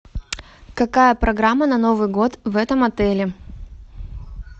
какая программа на новый год в этом отеле